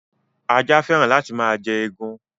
Ajá féràn láti máa jẹ egun.